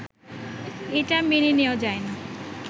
এটা মেনে নেয়া যায় না।